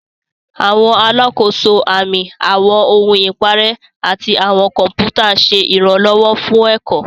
Àwọn alákòóso, àmì, àwọn ohun ìparẹ́, àti àwọn kọ̀pútà ń ṣe ìrànlọ́wọ́ fún ẹ̀kọ́.